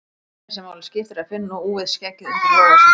Það eina sem máli skiptir er að finna úfið skeggið undir lófa sínum.